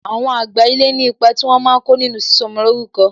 Àwọn àgbà ilé ní ipa tí wọn máa ko nínú sísọ ọmọ lórúkọ